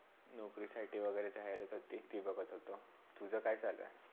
नौकरीसाठी वागेरे जाहिरात होती ती बघत होतो. तुझा काय चालु आहे?